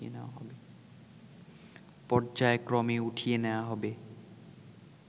পর্যায়ক্রমে উঠিয়ে নেয়া হবে